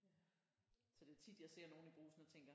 Så det er tit jeg ser nogen i Brugsen og tænker